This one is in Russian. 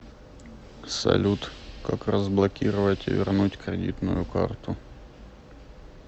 салют как разблокировать и вернуть кредитную карту